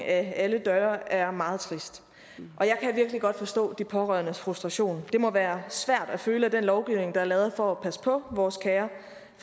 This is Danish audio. af alle døre er meget trist og jeg kan virkelig godt forstå de pårørendes frustration det må være svært at føle at den lovgivning der er lavet for at passe på vores kære